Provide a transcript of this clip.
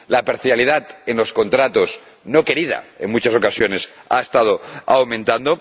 La parcialidad en los contratos, no querida en muchas ocasiones, ha estado aumentando.